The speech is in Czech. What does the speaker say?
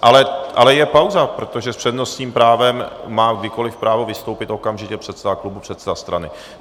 Ale je pauza, protože s přednostním právem má kdykoli právo vystoupit okamžitě předseda klubu, předseda strany.